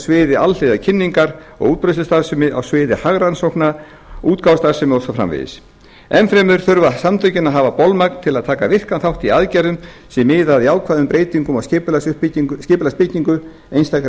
sviði alhliða kynningar og útbreiðslustarfsemi á sviði hagrannsókna útgáfustarfsemi og svo framvegis enn fremur þurfa samtökin að hafa bolmagn til að taka virkan þátt í aðgerðum er miða að jákvæðum breytingum á skipulagsbyggingu einstakra